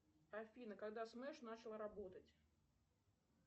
афина когда смэш начал работать